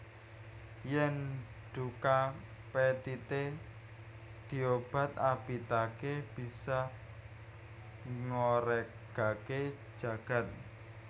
Yèn duka pethité diobat abitaké bisa ngoregaké jagad